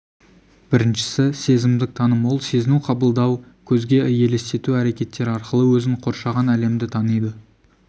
біріншісі сезімдік таным ол сезіну қабылдау көзге елестету әрекеттері арқылы өзін қоршаған әлемді таниды